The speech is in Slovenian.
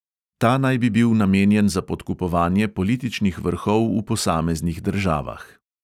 Ta naj bi bil namenjen za podkupovanje političnih vrhov v posameznih državah.